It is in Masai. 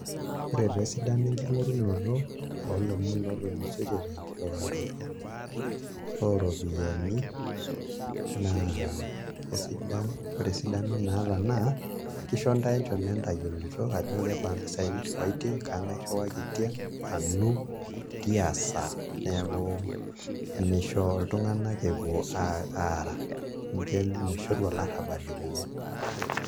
Ore taa esidani enkingorunoto olomon tenkiriwato oropiyani na ketumoki na kesidan na ore esidano naata kisho ntae echom entolikinoto ajo kebaa mpisai niriwaitie kangae iriwakita tiasaa neaku misho ltunganak epuo aara amu mishoru olarabal epuku.